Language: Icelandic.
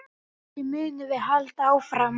Þessu munum við halda áfram.